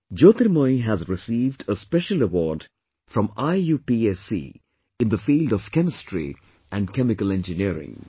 Jyotirmoyee has received a special award from IUPAC in the field of Chemistry and Chemical Engineering